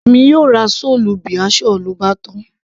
èmi yóò ra chole bhature, lóbátán